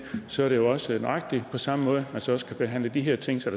så er det jo også nøjagtig på samme måde man så skal behandle de her ting så